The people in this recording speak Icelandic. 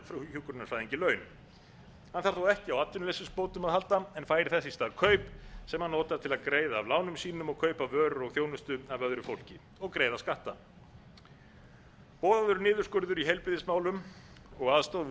hjúkrunarfræðingi laun hann þarf þá ekki á atvinnuleysisbótum að halda en fær þess í stað kaup sem hann notar til að greiða af lánum sínum og kaupa vörur og þjónustu af öðru fólki og greiða skatta boðaður niðurskurður í heilbrigðismálum og aðstoð við